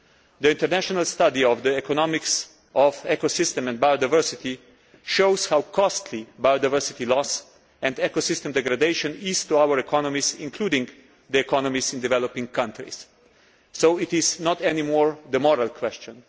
The international study of The Economics of Ecosystems and Biodiversity shows how costly biodiversity loss and ecosystem degradation is to our economies, including the economies in developing countries. So it is not any more a moral question